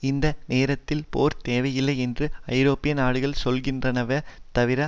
இந்த நேரத்தில் போர் தேவையில்லை என்று ஐரோப்பிய நாடுகள் சொல்கின்றனவே தவிர